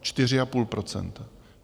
Čtyři a půl procenta.